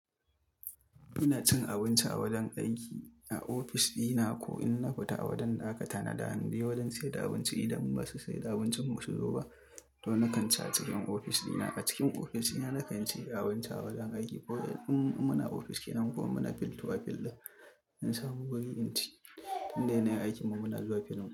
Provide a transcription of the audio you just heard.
Ina cin abinci a wajen aiki a ofis dina ko in na fita a wajen da aka tanada hanyoyi wajen siyar da abinci idan ba mu sai da abincin mu su zo ba. To na kan ci a cikin ofis dina. A cikin ofis dina na kan ci abinci a wajen aiki ko in muna ofis kenan ko muna filtuwa fillai in samu wuri inci inda yana aikinmu muna zuwa fillin mu.